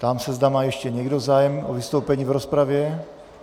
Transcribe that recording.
Ptám se, zda má ještě někdo zájem o vystoupení v rozpravě.